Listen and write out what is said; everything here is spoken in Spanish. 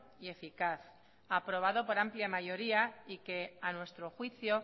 y eficaz aprobado por amplia mayoría y que a nuestro juicio